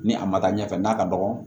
Ni a ma taa ɲɛfɛ n'a ka dɔgɔ